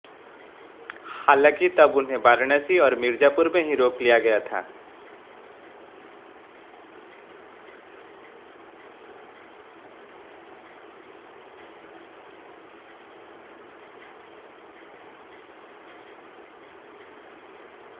हालांकि तब उन्हें वाराणसी और मिर्जापुर में ही रोक लिया गया था